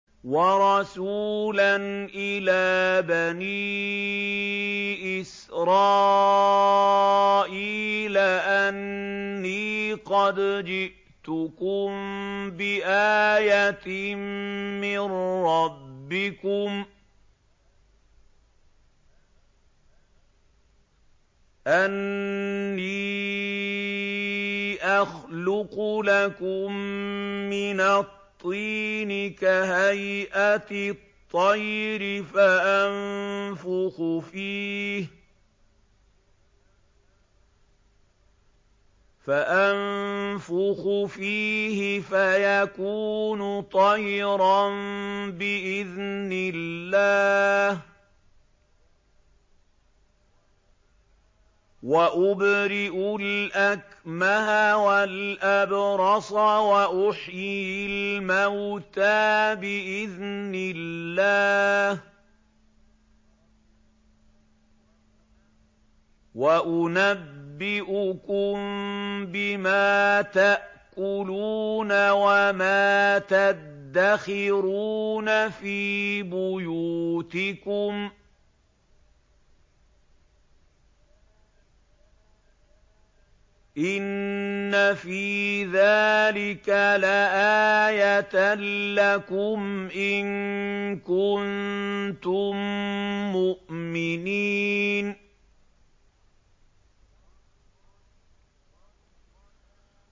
وَرَسُولًا إِلَىٰ بَنِي إِسْرَائِيلَ أَنِّي قَدْ جِئْتُكُم بِآيَةٍ مِّن رَّبِّكُمْ ۖ أَنِّي أَخْلُقُ لَكُم مِّنَ الطِّينِ كَهَيْئَةِ الطَّيْرِ فَأَنفُخُ فِيهِ فَيَكُونُ طَيْرًا بِإِذْنِ اللَّهِ ۖ وَأُبْرِئُ الْأَكْمَهَ وَالْأَبْرَصَ وَأُحْيِي الْمَوْتَىٰ بِإِذْنِ اللَّهِ ۖ وَأُنَبِّئُكُم بِمَا تَأْكُلُونَ وَمَا تَدَّخِرُونَ فِي بُيُوتِكُمْ ۚ إِنَّ فِي ذَٰلِكَ لَآيَةً لَّكُمْ إِن كُنتُم مُّؤْمِنِينَ